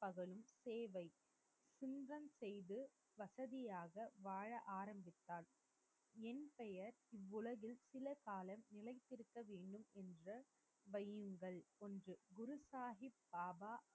பகலும் சேவை. குன்றம் செய்து வசதியாக வாழ ஆரம்பித்தாள். என் பெயர் இவ்வுலகில் சில காலம் நிலைத்திருக்க வேண்டுமென்ற வையுங்கள், என்று குரு சாகிப் பாபா